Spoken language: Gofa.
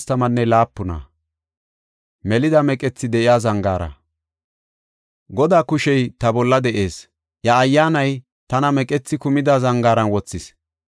Godaa kushey ta bolla de7ees; iya Ayyaanay tana meqethi kumida zangaaran wothis.